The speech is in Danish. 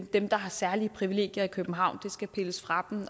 dem der har særlige privilegier i københavn skal pilles fra